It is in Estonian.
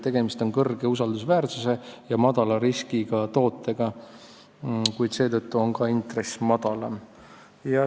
Tegemist on kõrge usaldusväärsuse ja madala riskiga tootega, kuid seetõttu on ka intress madalam.